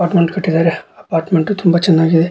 Apartment ಕಟ್ಟಿದರೆ apartment ತುಂಬ ಚೆನ್ನಾಗಿ.